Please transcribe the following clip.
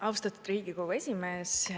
Austatud Riigikogu esimees!